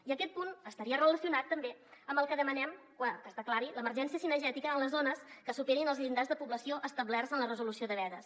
i aquest punt estaria relacionat també amb el que demanem que es declari l’emergència cinegètica en les zones que superin els llindars de població establerts en la resolució de vedes